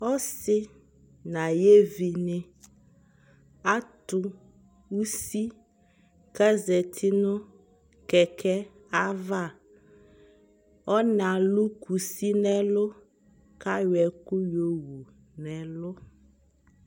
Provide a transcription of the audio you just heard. ɔsii nʋ ayi ɛvi ni, atʋ ʋsi kʋ azati nʋ kɛkɛɛ aɣa, ɔna alʋ kʋsi nʋ ɛlʋ kʋ ayɔ ɛkʋ yɔwʋ nʋ ɛlʋ